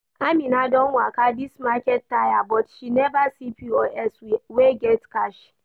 Amina don waka this market tire but she never see POS wey get cash